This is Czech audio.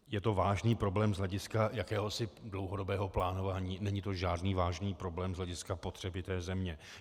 Je to vážný problém z hlediska jakéhosi dlouhodobého plánování, není to žádný vážný problém z hlediska potřeby té země.